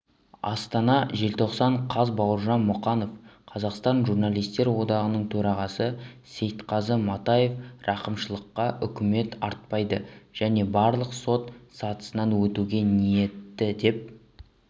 астана желтоқсан қаз бауыржан мұқанов қазақстан журналистер одағының төрағасы сейтқазы матаев рақымшылққа үміт артпайды және барлық сот сатысынан өтуге ниетті деп